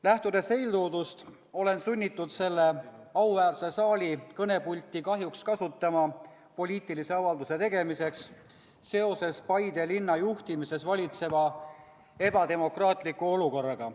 Lähtudes eeltoodust, olen sunnitud selle auväärse saali kõnepulti kahjuks kasutama poliitilise avalduse tegemiseks seoses Paide linna juhtimises valitseva ebademokraatliku olukorraga.